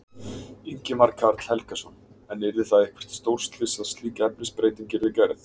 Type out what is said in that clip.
Ingimar Karl Helgason: En yrði það eitthvert stórslys að slík efnisbreyting yrði gerð?